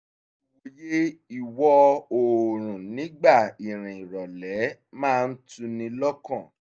ìwòye ìwọ̀ oòrùn nígbà ìrìn ìrọ̀lẹ́ máa ń tuni lọ́kàn